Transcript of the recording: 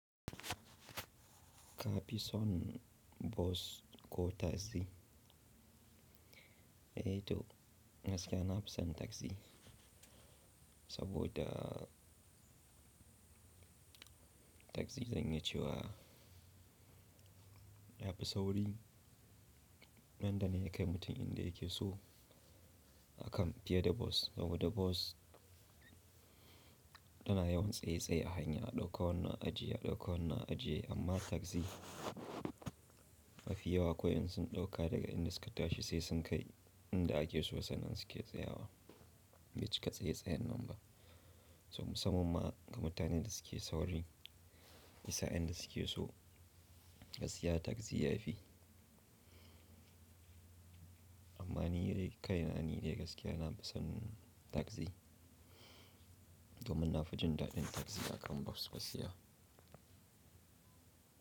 Ka fi son bas ko tagzi? Eh to gaskiya na fi son tagzi, saboda tagzi zan iya cewa ta fi sauri. Nan da nan ya kai mutum inda yake so akan fiye da bas. Saboda bas tana yawan tsaye tsaye a hanya, a ɗauka wannan ajiye, a ɗauka wannan ajiye amma tagzi mafiyawa kawai in sun ɗauka daga inda suka tashi sai sun kai inda ake so sannan suke tsayawa. Bai cika tsaye tsayen nan ba. So, musamman ma ga mutanen da suke sauri, isa inda suke so, gaskiya tagzi yafi. Amma ni dai kai na ni dai gaskiya na fi son tagzi. Domin na fi jin daɗin tagzi a kan bas basiya.